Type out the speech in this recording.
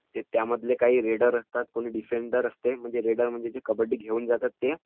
त्यातले काही रेडर असतात कुणी डिफेंडर असते. रेडर म्हणजे जे कबड्डी घेऊन जातात ते